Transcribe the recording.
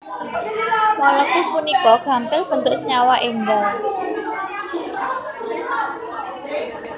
Molekul punika gampil bentuk senyawa enggal